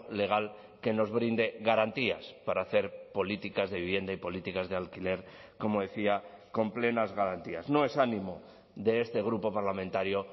legal que nos brinde garantías para hacer políticas de vivienda y políticas de alquiler como decía con plenas garantías no es ánimo de este grupo parlamentario